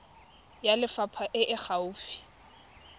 ya lefapha e e gaufi